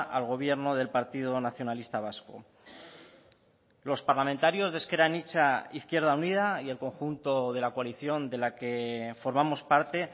al gobierno del partido nacionalista vasco los parlamentarios de ezker anitza izquierda unida y el conjunto de la coalición de la que formamos parte